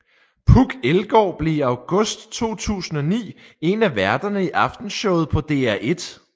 Puk Elgård blev i august 2009 en af værterne i Aftenshowet på DR1